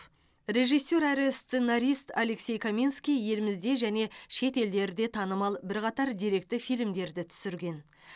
режиссер әрі сценарист алексей каменский елімізде және шет елдерде танымал бірқатар деректі фильмдерді түсірген